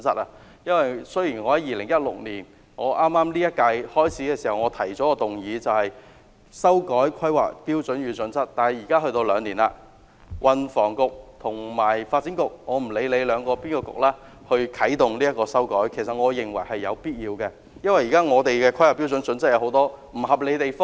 我在2016年本屆立法會任期開始時，提出一項修改《香港規劃標準與準則》的議案，兩年之後，運輸及房屋局或發展局有必要啟動修改，因為現時的《香港規劃標準與準則》有很多不合理的地方。